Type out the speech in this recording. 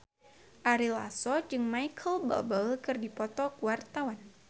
Ari Lasso jeung Micheal Bubble keur dipoto ku wartawan